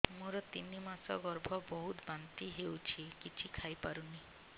ମୋର ତିନି ମାସ ଗର୍ଭ ବହୁତ ବାନ୍ତି ହେଉଛି କିଛି ଖାଇ ପାରୁନି